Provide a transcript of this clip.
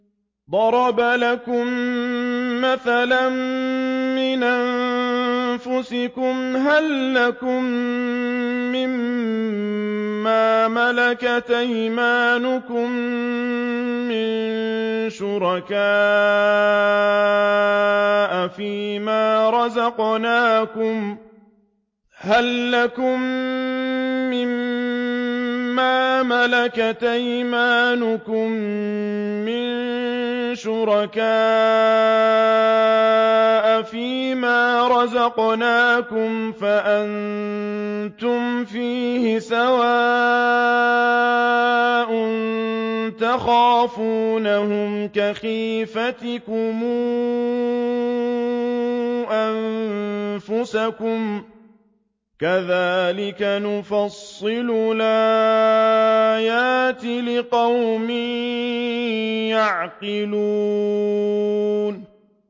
ضَرَبَ لَكُم مَّثَلًا مِّنْ أَنفُسِكُمْ ۖ هَل لَّكُم مِّن مَّا مَلَكَتْ أَيْمَانُكُم مِّن شُرَكَاءَ فِي مَا رَزَقْنَاكُمْ فَأَنتُمْ فِيهِ سَوَاءٌ تَخَافُونَهُمْ كَخِيفَتِكُمْ أَنفُسَكُمْ ۚ كَذَٰلِكَ نُفَصِّلُ الْآيَاتِ لِقَوْمٍ يَعْقِلُونَ